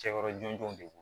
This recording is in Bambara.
Cɛkɔrɔ jɔnjɔn de don